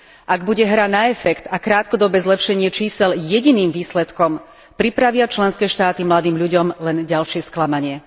Ak bude hra na efekt a krátkodobé zlepšenie čísiel jediným výsledkom, pripravia členské štáty mladým ľuďom len ďalšie sklamanie.